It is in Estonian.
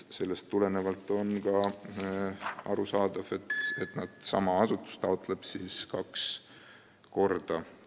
Sellest tulenevalt on arusaadav, et sama asutus taotleb raha kaks korda.